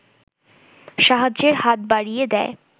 সাহায্যের হাত বাড়িয়ে দেয়